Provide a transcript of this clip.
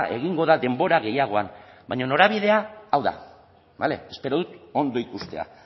egingo da denbora gehiagoan baina norabidea hau da bale espero dut ondo ikustea